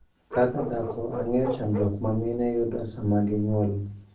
Kaka dhako, ang'eyo chandruok ma mine yudo sama ginyuol.